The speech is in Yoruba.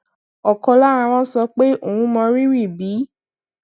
òkan lára wọn sọ pé òun mọrírì bí